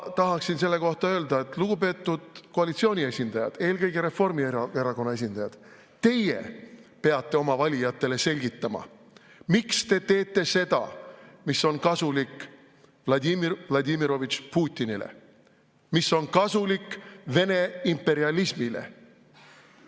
Ma tahaksin selle kohta öelda: lugupeetud koalitsiooni esindajad, eelkõige Reformierakonna esindajad, teie peate oma valijatele selgitama, miks te teete seda, mis on kasulik Vladimir Vladimirovitš Putinile, mis on kasulik Vene imperialismile.